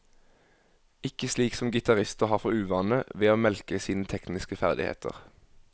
Ikke slik som gitarister har for uvane, ved å melke sine tekniske ferdigheter.